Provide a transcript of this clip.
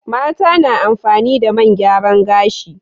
Mata na amfani da man gyaran gashi.